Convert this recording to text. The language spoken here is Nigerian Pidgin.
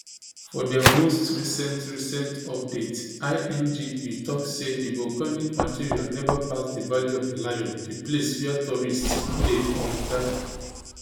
for dia most recent recent update ingv tok say di volcanic material neva pass di valley of di lion di place wia tourists dey um gada